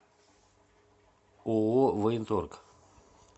ооо военторг